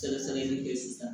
Sɛgɛsɛgɛli bɛ kɛ sisan